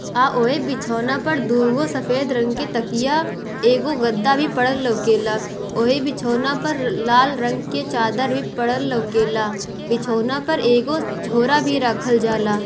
आ ओय बिछोना पर दू गो सफेद रंग के तकिया एगो गद्दा भी पड़ल लोके ला ओहि बिछोना पर लाल रंग के चादर भी परल लाेके ला बिछोना पर एगो झोरा भी रखल जाला।